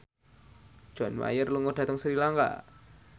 John Mayer lunga dhateng Sri Lanka